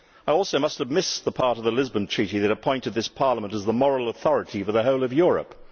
I also must have missed the part of the Lisbon Treaty that appointed this Parliament as the moral authority for the whole of Europe.